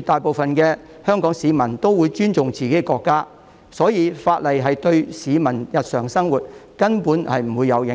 大部分香港市民都會尊重自己的國家，所以法例對市民日常生活根本沒有影響。